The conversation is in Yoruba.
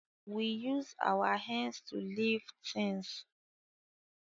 We use our hands to lift things